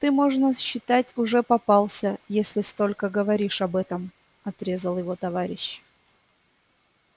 ты можно считать уже попался если столько говоришь об этом отрезал его товарищ